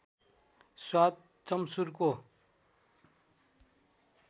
स्वाद चम्सुरको